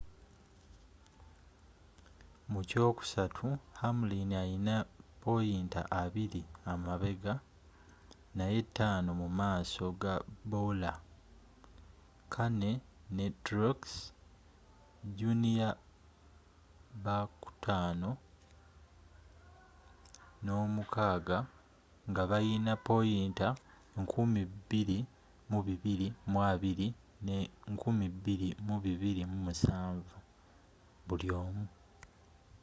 muky'okusatu hamlin alina poyinta abiri emabega naye taano mu maaso ga bowyer kahne ne truex jr bakutaano n'omukaaga nga balina poyinta 2220 ne 2,207 buliomu